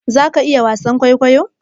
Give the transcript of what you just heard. za ka iya wasan kwaikwayo?